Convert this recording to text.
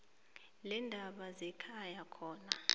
leendaba zekhaya khona